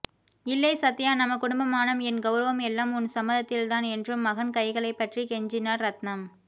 இல்லை சத்யா நம்ம குடும்பமானம் என் கௌரவம் எல்லாம் உன் சம்மதத்தில்தான் என்றும மகன் கைகளை பற்றி கெஞ்சினார் ரத்னம்